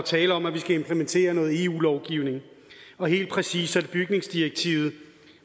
tale om at vi skal implementere noget eu lovgivning og helt præcist er det bygningsdirektivet